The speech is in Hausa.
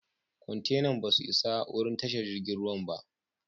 Kwantenan ba su isa wurin tashar jirigin ruwan ba.